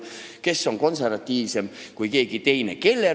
Kes on konservatiivsem kui keegi teine?